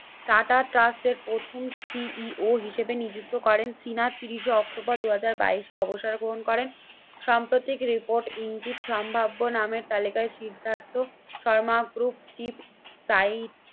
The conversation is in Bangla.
টাটা ট্রাস্টের প্রথম CEO হিসেবে নিযুক্ত করেন। শীনাথ তিরিশে অক্টোবর দুই হাজার বাইশে অবসর গ্রহণ করেন। সাম্প্রতিক রিপোর্ট ইঙ্গিত সম্ভাব্য নামের তালিকায় সিদ্ধার্থ শর্মা গ্রুপ চিফ তাই